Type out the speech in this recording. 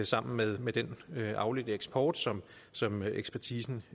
sammen med med den afledte eksport som som ekspertisen